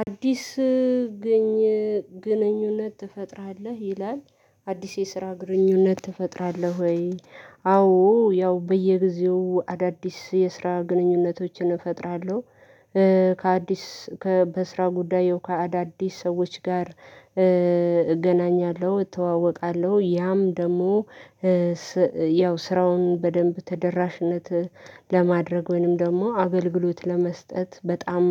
አዲስ ግንኙነት ትፈጥራለህ? ይላል አዲስ የስራ ግንኙነት ትፈጥራለሁ ወይ? አዎ ያው በየጊዜው አዳዲስ የስራ ግንኙነቶችን እፈጥራለሁ ከአዲስ ከበስራ ጉዳይ ያው ከአዳዲስ ሰዎች ጋር እገናኛለሁ እተዋወቃለሁ ያም ደግሞ ያው ስራውን በደንብ ተደራሽነት ለማድረግ ወይንም ደግሞ አገልግሎት ለመስጠት በጣም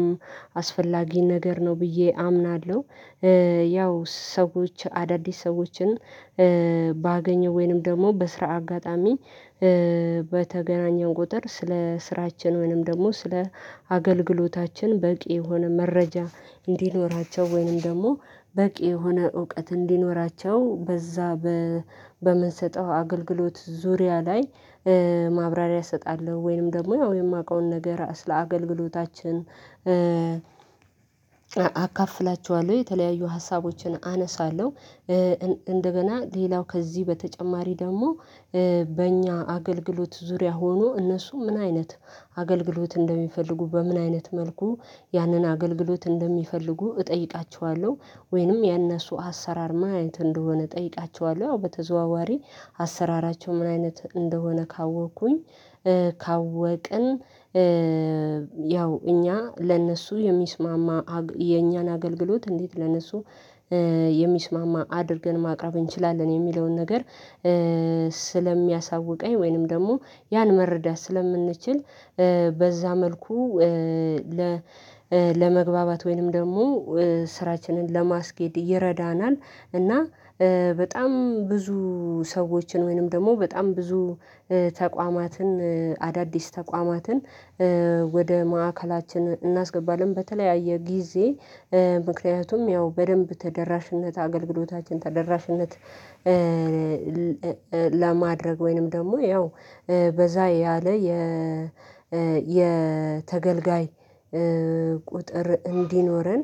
አስፈላጊ ነገር ነው ብዬ አምናለሁ። ያው ሰዎች አዳዲስ ሰዎችን ባገኘው ወይንም ደግሞ በስራ አጋጣሚ በተገናኘን ቁጥር ስለ ስራችን ወይንም ደግሞ ስለ አገልግሎታችን በቂ የሆነ መረጃ እንዲኖራቸው ወይንም ደግሞ በቂ የሆነ እውቀት እንዲኖራቸው በዛ በምንሰጠው አገልግሎት ዙሪያ ላይ ማብራሪያ እሰጣለሁ ወይንም ደግሞ ያው እኔ የማውቀውን ነገር ስለ አገልግሎታችን አካፍላቸዋለሁ የተለያዩ ሀሳቦችን አነሳለሁ እንደገና ሌላው ከዚህ በተጨማሪ ደግሞ በእኛ አገልግሎት ዙሪያ ሆኖ እነሱ ምን አይነት አገልግሎት እንደሚፈልጉ በምን አይነት መልኩ ያንን አገልግሎት እንደሚፈልጉ እጠይቃቸዋለሁ ወይንም የእነሱ አሰራር ምን አይነት እንደሆነ እጠይቃቸዋለሁ ያው በተዘዋዋሪ አሰራራቸው ምን አይነት እንደሆነ ካወኩኝ ካወቅን ያው እኛ ለእነሱ የሚስማማ የኛን አገልግሎት እንዴት ለነሱ የሚስማማ አድርገን ማቅረብ እንችላለን የሚለውን ነገር ስለሚያሳውቀኝ ወይንም ደግሞ ያን መረዳት ስለምንችል በዛ መልኩ ለመግባባት ወይንም ደግሞ ስራችንን ለማስኬድ ይረዳናል። እና በጣም ብዙ ሰዎችን ወይንም ደግሞ በጣም ብዙ ተቋማትን አዳዲስ ተቋማትን ወደ ማዕከላችን እናስገባለን በተለያየ ጊዜ ምክንያቱም ያው በደንብ ተደራሽነት አገልግሎታችን ተደራሽነት ለማድረግ ወይንም ደግሞ ያው በዛ ያለ የ የተገልጋይ ቁጥር እንዲኖረን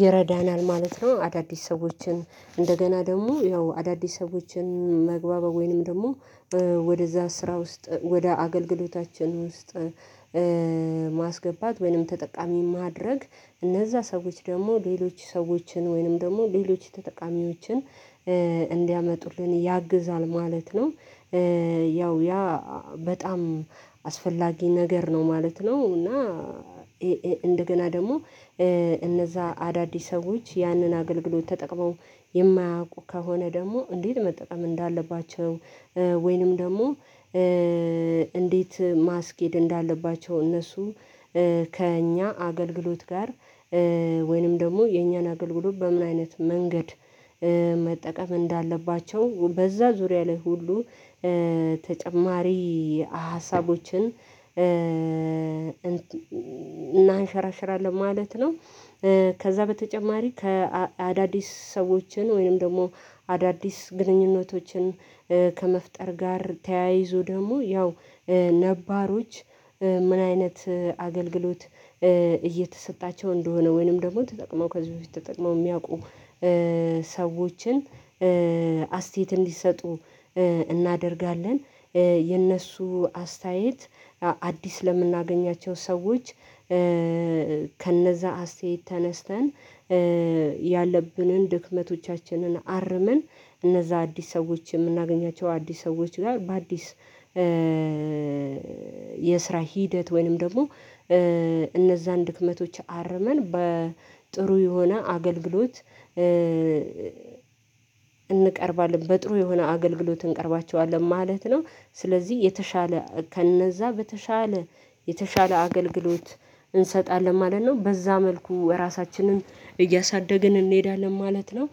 ይረዳናል ማለት ነው። አዳዲስ ሰዎችን እንደገና ደግሞ ያው አዳዲስ ሰዎችን መግባባት ወይንም ደግሞ ወደዛ ስራ ውስጥ ወደ አገልግሎታችን ውስጥ ማስገባት ወይንም ተጠቃሚ ማድረግ እነዛ ሰዎች ደግሞ ሌሎች ሰዎችን ወይንም ደግሞ ሌሎች ተጠቃሚዎችን እንዲያመጡልን ያግዛል ማለት ነው። ያው ያ በጣም አስፈላጊ ነገር ነው ማለት ነው። እና እንደገና ደግሞ እነዛ አዳዲስ ሰዎች ያንን አገልግሎት ተጠቅመው የማያውቁ ከሆነ ደግሞ እንዴት መጠቀም እንዳለባቸው ወይንም ደግሞ እንዴት ማስኬድ እንዳለባቸው እነሱ ከእኛ አገልግሎት ጋር ወይንም ደግሞ የኛን አገልግሎት በምን አይነት መንገድ መጠቀም እንዳለባቸው በዛ ዙሪያ ላይ ሁሉ ተጨማሪ ሀሳቦችን እናንሸራሽራለን ማለት ነው። ከዛ በተጨማሪ ከአዳዲስ ሰዎችን ወይንም ደግሞ አዳዲስ ግንኙነቶችን ከመፍጠር ጋር ተያይዞ ደግሞ ያው ነባሮች ምን አይነት አገልግሎት እየተሰጣቸው እንደሆነ ወይንም ደግሞ ተጠቅመው ከዚህ በፊት ተጠቅመው የሚያውቁ ሰዎችን አስተያየት እንዲሰጡ እናደርጋለን የእነሱ አስተያየት አዲስ ለምናገኛቸው ሰዎች ከነዛ አስተያየት ተነስተን ያለብንን ድክመቶቻችንን አርመን እነዛ አዲስ ሰዎች የምናገኛቸው አዲስ ሰዎች ጋር በአዲስ የስራ ሂደት ወይንም ደግሞ እነዛን ድክመቶች አርመን በጥሩ የሆነ አገልግሎት እንቀርባለን በጥሩ የሆነ አገልግሎት እንቀርባቸዋለን ማለት ነው ስለዚህ የተሻለ ከነዛ በተሻለ የተሻለ አገልግሎት እንሰጣለን ማለት ነው። በዛ መልኩ እራሳችንን እያሳደግን እንሄዳለን ማለት ነው።